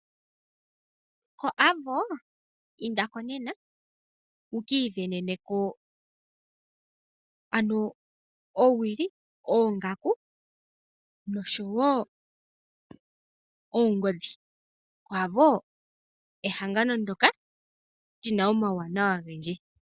Ko AVO indako nena wu kii veneneno ano owili, oongaku, noshowo oongodhi, AVO ehangano ndoka lina omawuwanawa ogendje.